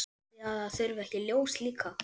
Haldið þið að það þurfi ekki ljós líka?